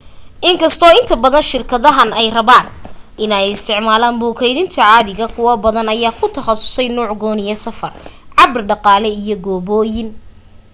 inkasto inta badan shirkadahan ay rabaan in ay isticmaalan buug keydinta caadiga kuwo badan ayaa ku taqasusay nuuc gooniyo safar cabir dhaqaale iyo gooboyin